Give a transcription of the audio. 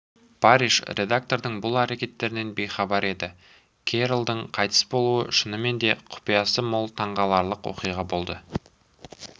парриш редактордың бұл әрекеттерінен бейхабар еді керролдың қайтыс болуы шынымен де құпиясы мол таңғаларлық оқиға болды